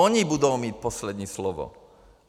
Oni budou mít poslední slovo.